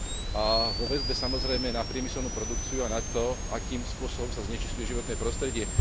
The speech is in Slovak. a vo väzbe, samozrejme, na priemyselnú produkciu a na to, akým spôsobom sa znečisťuje životné prostredie.